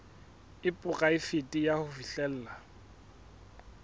e poraefete ya ho fihlella